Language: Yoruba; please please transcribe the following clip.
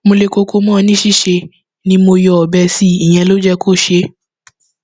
mo le koko mọ ọn ní níṣe ni mo yọ ọbẹ sí i ìyẹn ló jẹ kó ṣe é